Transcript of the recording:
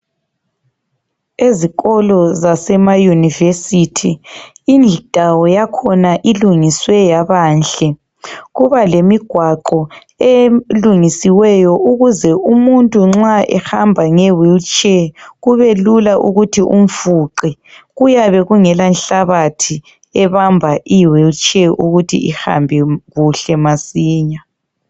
Ezikolo zasemayunivesithi indawo yakhona ilungiswe yabanhle. Kuba lemigwaqo elungisiweyo ukuze umuntu nxa ehamba ngewheelchair kubelula ukuthi umfuqe kuyabe kungelanhlabathi ebamba iwheelchair ukuthi ihambe kuhle masinya.